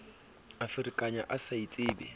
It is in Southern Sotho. a ferekane a sa itsebe